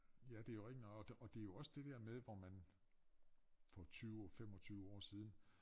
Ja det jo rigtigt nok og og det jo også det der med hvor man for 20 25 år siden